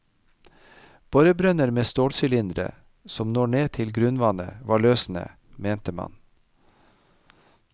Borebrønner med stålsylindre som når ned til grunnvannet, var løsenet, mente man.